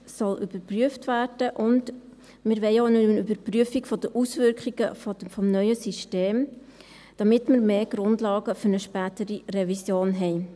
Und wir wollen auch eine Überprüfung der Auswirkungen des neuen Systems, damit wir mehr Grundlagen für eine spätere Revision haben.